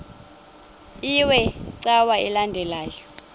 iwe cawa elandela